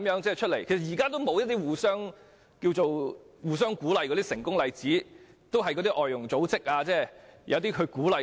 但其實現在沒有一些互相鼓勵的成功例子，只靠外傭組織鼓勵他們。